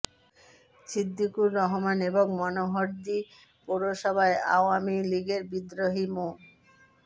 ছিদ্দিকুর রহমান এবং মনোহরদী পৌরসভায় আওয়ামী লীগের বিদ্রোহী মো